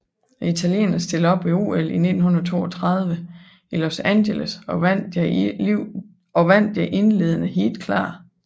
Italienerne stillede op ved OL 1932 i Los Angeles og vandt deres indledende heat klart